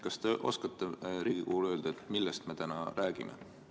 Kas te oskate Riigikogule öelda, millest me täna räägime?